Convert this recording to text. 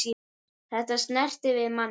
Þetta snertir við manni.